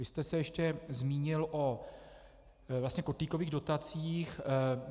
Vy jste se ještě zmínil o vlastně kotlíkových dotacích.